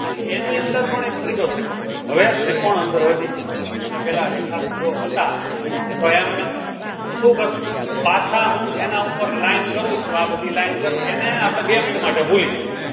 અને એની અંદર પણ એક ત્રીજો ત્રિકોણ હવે ત્રિકોણ અંદર વધી ગયા અને પહેલા રેખાખંડો હતા એ તો એમને તો શું કરશું? પાછા હું જેના ઉપર line કરું છું આ બધી line કરું એને આપણે બે minute માટે ભૂલી જઈએ